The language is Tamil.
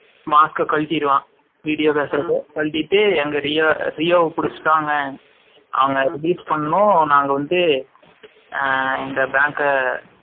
Mask கலட்டிருவான். Video பேசுறப்போ கழட்டிட்டு அங்க ரியோவ புடிச்சுட்டாங்க அவங்க release பண்ணனும் நாங்க வந்து இந்த bank அ